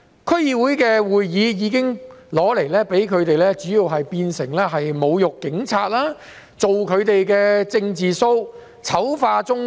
區議會會議主要已被他們用來侮辱警察、做"政治 show" 和醜化中國。